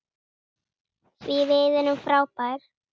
Því við erum frábær.